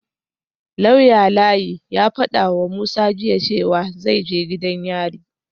Lauya Layi ya fadawa Musa jiya cewa zai je gidan yari